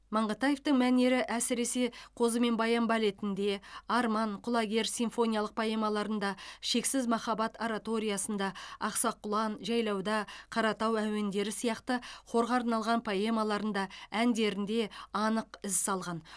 маңғытаевтың мәнері әсіресе қозы мен баян балетінде арман құлагер симфониялық поэмаларында шексіз махаббат ораториясында ақсақ құлан жайлауда қаратау әуендері сияқты хорға арналған поэмаларында әндерінде анық із салған